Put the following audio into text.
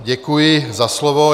Děkuji za slovo.